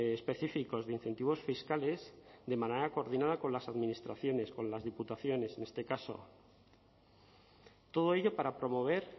específicos de incentivos fiscales de manera coordinada con las administraciones con las diputaciones en este caso todo ello para promover